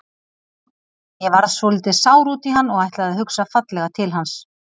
Ég varð svolítið sár út í hann en ætla að hugsa fallega til hans.